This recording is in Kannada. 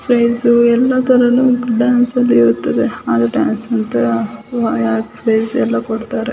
ಪ್ರೈಜ್ ಎಲ್ಲದರಲ್ಲೂ ಡ್ಯಾನ್ಸ್ ಅಂದ್ರೆ ಇರ್ತದೆ ಡ್ಯಾನ್ಸ್ [ ಪ್ರೈಜ್ ಎಲ್ಲ ಕೊಡ್ತಾರೆ .